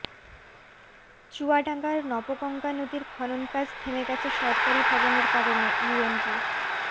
চুয়াডাঙ্গার নবগঙ্গা নদীর খননকাজ থেমে গেছে সরকারি ভবনের কারণে ইউএনবি